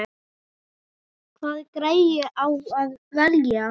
Hvaða græju á að velja?